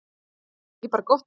Er það ekki bara gott mál?